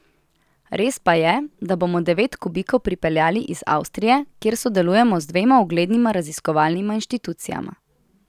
Res pa je, da bomo devet kubikov pripeljali iz Avstrije, kjer sodelujemo z dvema uglednima raziskovalnima inštitucijama.